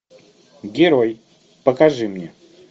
герой покажи мне